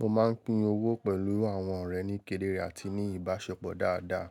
Mo máa ń pín owó pẹ̀lú àwọn ọ̀rẹ́ ní kéderé àti ní ìbáṣepọ̀ dáadáa.